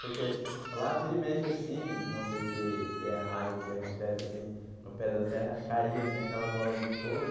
Porque lá, vira e mexe, assim, não sei se se é raio que acontece, assim, no pé da serra, caía, assim, aquela bola de fogo.